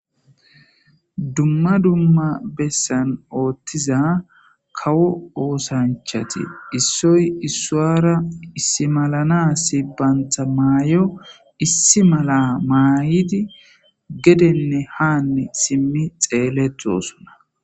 dumma dumma bessan ooththiza kawo oosanchati issoy issuwara issi malana sibbantha maayo issi mala maahidi gedenne haanne simmi xeeletosunna